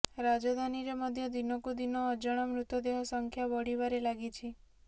ରାଜଧାନୀରେ ମଧ୍ୟ ଦିନକୁ ଦିନ ଅଜଣା ମୃତଦେହ ସଂଖ୍ୟା ବଢ଼ିବାରେ ଲାଗିଛି